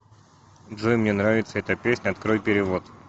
джой мне нравится эта песня открой перевод